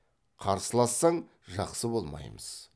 қарсылассаң жақсы болмаймыз